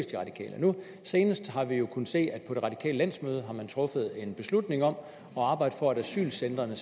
de radikale senest har vi kunnet se at man på det radikale landsmøde har truffet en beslutning om at arbejde for at asylcentrene